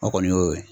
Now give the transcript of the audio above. O kɔni y'o ye